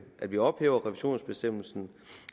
at vi ophæver revisionsbestemmelsen